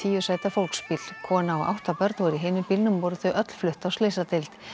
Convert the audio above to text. tíu sæta fólksbíl kona og átta börn voru í hinum bílnum og voru þau öll flutt á slysadeild